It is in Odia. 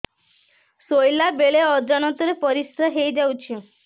ଶୋଇଲା ବେଳେ ଅଜାଣତ ରେ ପରିସ୍ରା ହେଇଯାଉଛି